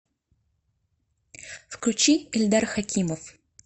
включи ильдар хакимов